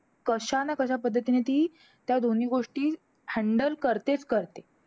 आमच्या इथे परत kt लागल्यावरती परत मग drop भेटतो वगैरे तुमच्या तिकड drop नाही भेटत.